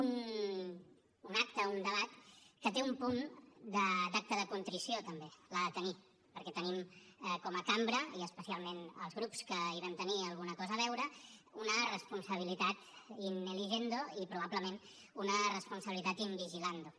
un acte un debat que té un punt d’acte de contrició també l’ha de tenir perquè tenim com a cambra i especialment els grups que hi vam tenir alguna cosa a veure una responsabilitat in eligendo i probablement una responsabilitat in vigilando